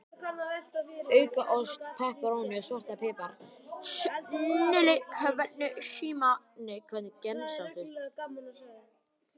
Auka ost, pepperóní og svartan pipar, snilli Hvernig gemsa áttu?